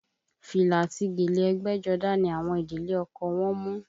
Fìlà àti gèlè ẹgbẹ́jọdá ni àwọn ìdílé ọkọ wọ́n mú